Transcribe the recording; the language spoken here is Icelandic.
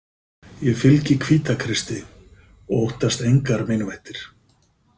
Ég fylgi Hvítakristi og óttast engar meinvættir.